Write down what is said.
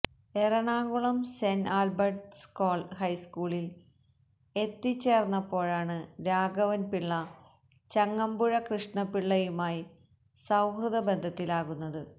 Ernakulam saint Albert's ഹൈസ്കൂളിൽ എത്തിച്ചേർന്നപ്പോഴാണ് രാഘവൻപിള്ള ചങ്ങമ്പുഴ കൃഷ്ണപിള്ളയുമായി സൌഹൃദബന്ധത്തിലാകുന്നത്